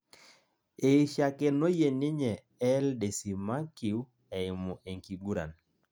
eishakenoyie ninye el desimakue eimu enkiguran